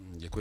Děkuji.